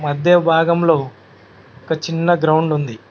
మధ్య భాగంలో ఒక చిన్న గ్రౌండ్ ఉంది